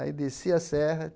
Aí desci a serra.